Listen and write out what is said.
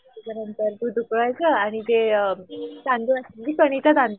गरम तर दूध उकळायचं आणि ते अ